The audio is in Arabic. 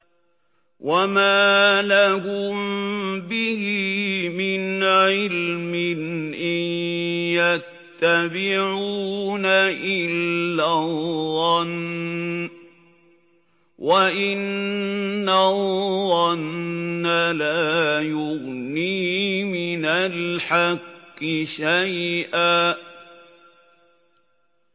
وَمَا لَهُم بِهِ مِنْ عِلْمٍ ۖ إِن يَتَّبِعُونَ إِلَّا الظَّنَّ ۖ وَإِنَّ الظَّنَّ لَا يُغْنِي مِنَ الْحَقِّ شَيْئًا